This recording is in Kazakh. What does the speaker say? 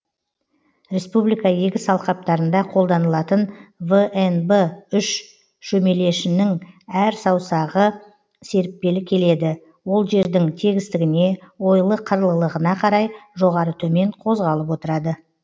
республика егіс алқаптарында қолданылатын внб үш шөмелешінің әр саусағы серіппелі келеді ол жердің тегістігіне ойлы қырлылығына қарай жоғары төмен қозғалып отырады